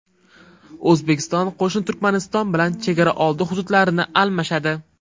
O‘zbekiston qo‘shni Turkmaniston bilan chegaraoldi hududlarini almashadi.